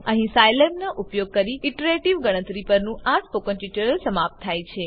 અહીં સાઈલેબનો ઉપયોગ કરી ઈટરેટીવ ગણતરી પરનું આ સ્પોકન ટ્યુટોરીયલ સમાપ્ત થાય છે